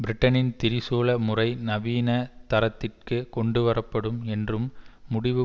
பிரிட்டனின் திரிசூல முறை நவீன தரத்திற்குக் கொண்டு வரப்படும் என்னும் முடிவு